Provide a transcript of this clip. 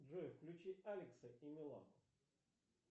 джой включи алекса и милану